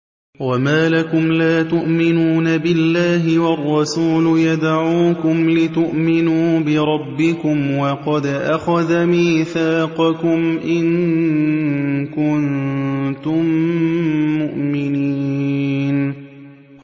وَمَا لَكُمْ لَا تُؤْمِنُونَ بِاللَّهِ ۙ وَالرَّسُولُ يَدْعُوكُمْ لِتُؤْمِنُوا بِرَبِّكُمْ وَقَدْ أَخَذَ مِيثَاقَكُمْ إِن كُنتُم مُّؤْمِنِينَ